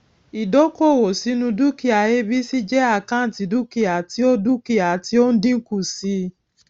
ìdókòwò sínu dúkìá abc jé àkáǹtì dúkìá tí ó dúkìá tí ó n dínkù sí i